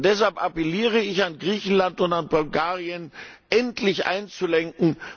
Deshalb appelliere ich an Griechenland und an Bulgarien, endlich einzulenken.